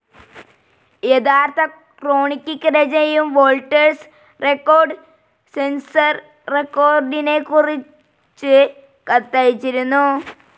യഥാർത്ഥ ക്രോണിക്കിക് രചനയും വോൾട്ടേഴ്സ് റെക്കോർഡ്‌ സെൻസർ റെക്കോർഡിനെക്കുറിച്ച് കത്തയച്ചിരുന്നു.